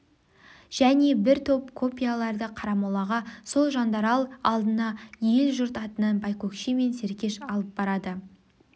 және бір топ копияларды қарамолаға сол жандарал алдына ел-жұрт атынан байкөкше мен серкеш алып барады